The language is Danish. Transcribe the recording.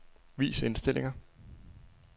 Vis indstillinger.